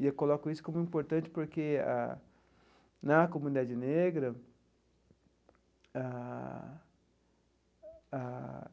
E eu coloco isso como importante porque ah, na comunidade negra ah ah,